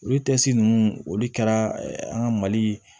Olu ninnu olu kɛra an ka mali